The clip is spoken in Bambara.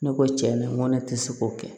Ne ko tiɲɛ na n ko ne tɛ se k'o kɛ